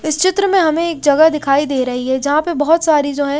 इस चित्र में हमें एक जगह दिखाई दे रही है जहां पर बहुत सारी जो है--